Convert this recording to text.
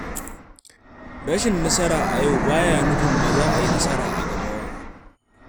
Rashin nasara a yau ba yana nufin ba za a yi nasara a gaba ba.